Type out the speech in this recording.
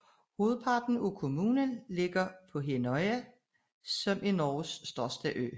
Hovedparten af kommunen ligger på Hinnøya som er Norges største ø